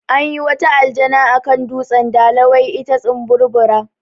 Anyi wata aljana akan dutsen dala wai ita tsimburbura